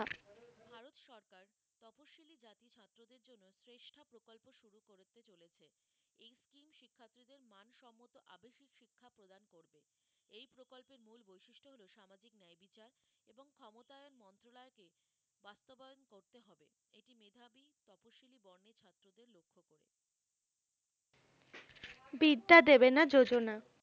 বিদ্যা দেবেনা যোজনা